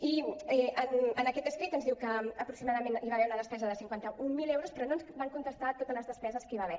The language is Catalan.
i en aquest escrit ens diu que aproximadament hi va haver una despesa de cinquanta mil euros però no ens va contestar sobre totes les despeses que hi va haver